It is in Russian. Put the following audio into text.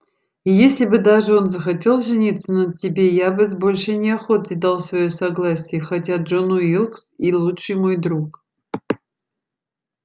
и если бы даже он захотел жениться на тебе я бы с большой неохотой дал своё согласие хотя джон уилкс и лучший мой друг